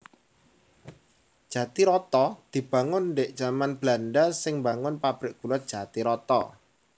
Jatiroto dibangun ndhik jamané Belanda sing mbangun pabrik gula Jatiroto